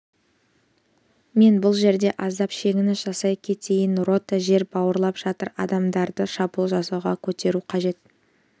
мен бұл жерде аздап шегініс жасай кетейін рота жер бауырлап жатыр адамдарды шабуыл жасауға көтеру қажет